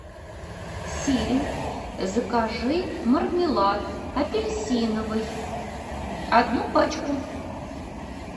сири закажи мармелад апельсиновый одну пачку